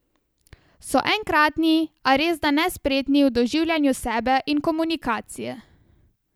So enkratni, a resda nespretni v doživljanju sebe in komunikacije.